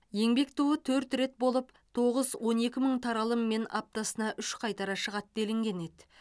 еңбек туы төрт бет болып тоғыз он екі мың таралыммен аптасына үш қайтара шығады делінген еді